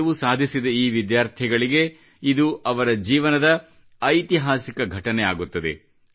ಗೆಲುವು ಸಾಧಿಸಿದ ಈ ವಿದ್ಯಾರ್ಥಿಗಳಿಗೆ ಇದು ಅವರ ಜೀವನದ ಐತಿಹಾಸಿಕ ಘಟನೆ ಆಗುತ್ತದೆ